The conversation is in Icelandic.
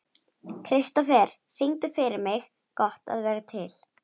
Kristofer, syngdu fyrir mig „Gott að vera til“.